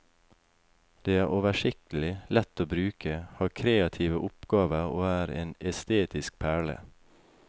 Det er oversiktlig, lett å bruke, har kreative oppgaver og er en estetisk perle.